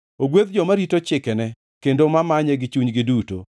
Ogwedh joma orito chikene kendo ma manye gi chunygi duto.